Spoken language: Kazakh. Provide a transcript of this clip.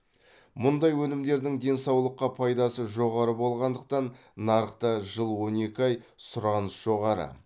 мұндай өнімдердің денсаулыққа пайдасы жоғары болғандықтан нарықта жыл он екі ай сұраныс жоғары